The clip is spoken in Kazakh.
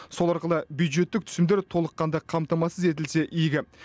сол арқылы бюджеттік түсімдер толыққанды қамтамасыз етілсе игі